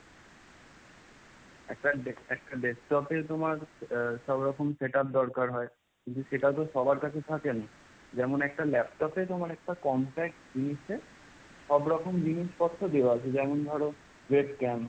একটা desk~ একটা desktop এর তোমার সব রকম setup দরকার হয়। কিন্তু সেটা তো সবার কাছে থাকে না। যেমন একটা laptop এ তোমার একটা compact জিনিসে সব রকম জিনিসপত্র দেওয়া আছে যেমন ধরো webcam,